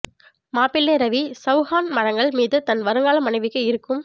மாப்பிள்ளை ரவி சவுஹான் மரங்கள் மீது தன் வருங்கால மனைவிக்கு இருக்கும்